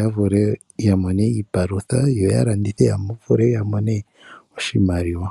ya vule ya mone iipalutha yo ya landithe wo ya mone oshimaliwa.